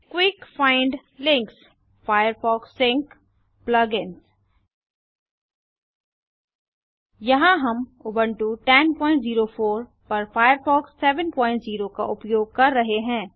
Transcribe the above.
Quick find link Firefox sync Plug ins यहाँ हम Ubuntu 1004 पर फायरफॉक्स 70 का उपयोग कर रहे हैं